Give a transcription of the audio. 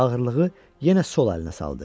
Ağırlığı yenə sol əlinə saldı.